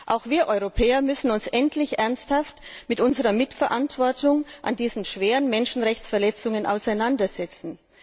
Auch wir Europäer müssen uns endlich ernsthaft mit unserer Mitverantwortung an diesen schweren Menschenrechtsverletzungen auseinandersetzen.